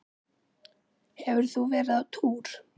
Hefur þú verið á túr?